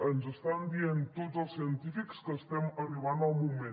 ens estan dient tots els científics que estem arribant al moment